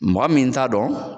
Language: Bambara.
Mɔgɔ min t'a dɔn